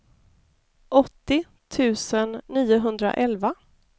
åttio tusen niohundraelva